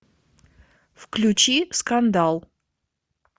включи скандал